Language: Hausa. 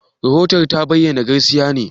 Rahoton da ta bayar gaskiya ne?